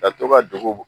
Ka to ka degun